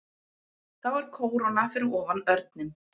Þá er kóróna fyrir ofan örninn.